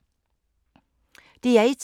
DR1